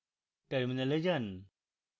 terminal যান